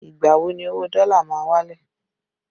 Ìgbà wo ni owó dọ́là ma wálẹ̀?